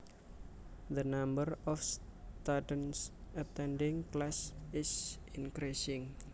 The number of students attending class is increasing